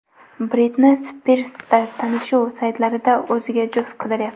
Britni Spirs tanishuv saytlaridan o‘ziga juft qidiryapti.